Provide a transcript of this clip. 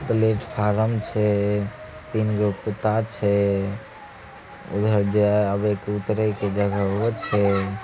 प्लेटफार्म छै। तीन गो कुत्ता छै उधर जा अब उतरेक जगा वो छै